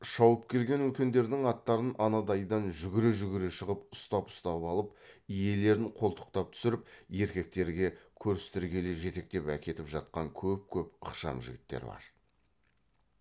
шауып келген үлкендердің аттарын анадайдан жүгіре жүгіре шығып ұстап ұстап алып иелерін қолтықтап түсіріп еркектерге көрістіргелі жетектеп әкетіп жатқан көп көп ықшам жігіттер бар